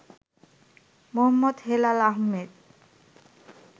Md. Helal Ahmed